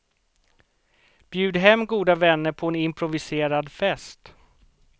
Bjud hem goda vänner på en improviserad fest.